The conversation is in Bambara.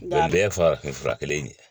A bɛɛ ye farafinfura kelen in ye